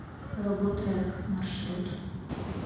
роботрек маршрут